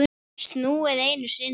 Snúið einu sinni.